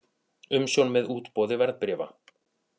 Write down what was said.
Umsjón með útboði verðbréfa.